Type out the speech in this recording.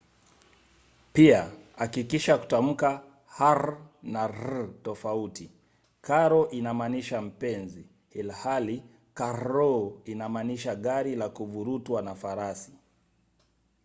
pia hakikisha kutamka r na rr tofauti: caro inamaanisha mpenzi ilhali carro inamaanisha gari la kuvurutwa na farasi